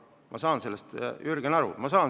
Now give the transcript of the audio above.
Ma saan sellest, Jürgen, aru.